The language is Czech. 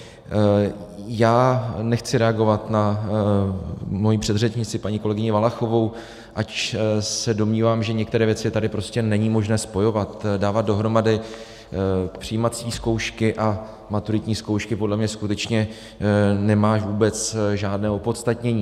Já nechci reagovat na svoji předřečnici paní kolegyni Valachovou, ač se domnívám, že některé věci tady prostě není možné spojovat, dávat dohromady přijímací zkoušky a maturitní zkoušky podle mě skutečně nemá vůbec žádné opodstatnění.